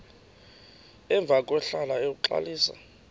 emva kwahlala uxalisa